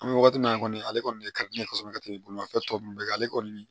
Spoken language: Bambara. An bɛ wagati min na kɔni ale kɔni ye bolimafɛn tɔ ninnu bɛɛ kan ale kɔni